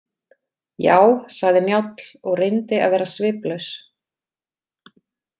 Já, sagði Njáll og reyndi að vera sviplaus.